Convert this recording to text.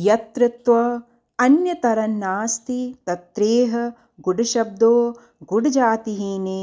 यत्र त्वन्यतरन्नास्ति तत्रेह गुडशब्दो गुडजातिहीने